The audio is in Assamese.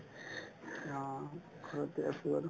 অ, ঘৰতে আছো আৰু